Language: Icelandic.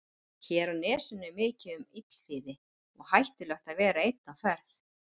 Hér á nesinu er mikið um illþýði og hættulegt að vera einn á ferð.